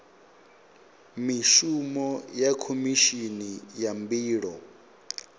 mishumo ya khomishini ya mbilo